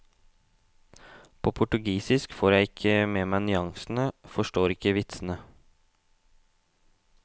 På portugisisk får jeg ikke med meg nyansene, forstår ikke vitsene.